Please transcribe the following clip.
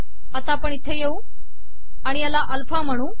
आता आपण इथे येऊ आणि ह्याला अल्फा म्हणू